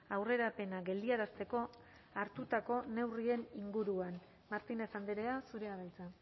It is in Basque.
aurrerapena geldiarazteko hartutako neurrien inguruan martínez andrea zurea da hitza